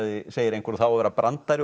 segir einhver og það á að vera brandari